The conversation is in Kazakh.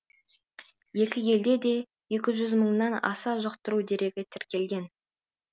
екі елде де екі жүз мыңнан аса жұқтыру дерегі тіркелген